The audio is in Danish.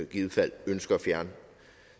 givet fald ønsker at fjerne